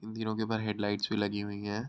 इन तीनो के ऊपर हेडलाइट्स भी लगी हुई हैं।